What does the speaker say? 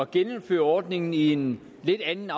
genindføre ordningen i en lidt anden